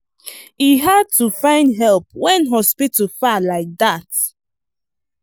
e hard to find help when hospital far like that.